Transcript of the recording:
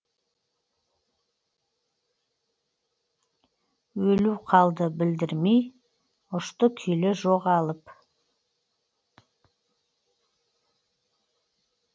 өлу қалды білдірмей ұшты күйлі жоғалып